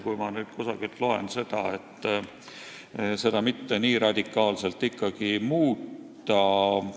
Mõnelt poolt võib lugeda, et seda pole vaja nii radikaalselt muuta.